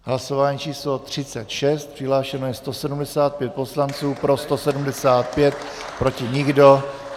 Hlasování číslo 36, přihlášeno je 175 poslanců, pro 175, proti nikdo.